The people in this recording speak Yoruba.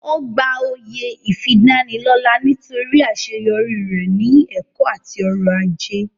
Ó gba oyè ìfidánilọ́lá nítorí àṣeyọrí rẹ̀ ní ẹ̀kọ́ àti ọrọ̀ ajé